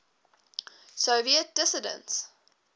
soviet dissidents